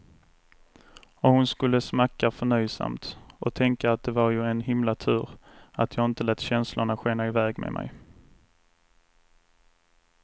Och hon skulle smacka förnöjsamt och tänka att det var ju en himla tur att jag inte lät känslorna skena iväg med mig.